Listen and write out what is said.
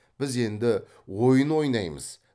біз енді ойын ойнаймыз